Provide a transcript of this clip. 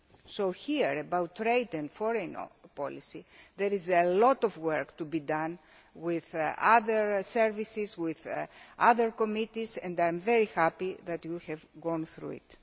policy. So, here about trade and foreign policy, there is a lot of work to be done with other services, with other committees, and I am very happy that we have gone through